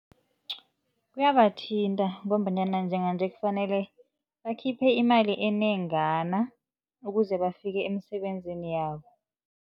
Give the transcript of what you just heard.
Kuyabathinta ngombanyana njenganje kufanele bakhiphe imali enengana ukuze bafike emisebenzini yabo.